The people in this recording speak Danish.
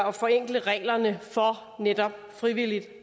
og forenkle reglerne for netop frivilligt